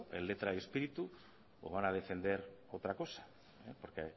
en letra y espíritu o van a defender otra cosa porque